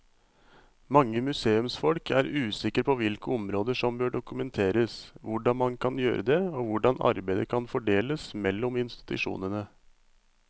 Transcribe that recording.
Mange museumsfolk er usikre på hvilke områder som bør dokumenteres, hvordan man kan gjøre det og hvordan arbeidet kan fordeles mellom institusjonene.